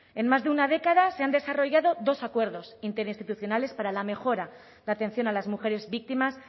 en más de una década se han desarrollado dos acuerdos interinstitucionales para la mejora de la atención a las mujeres víctimas